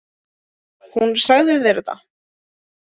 Hún sagði þér þetta?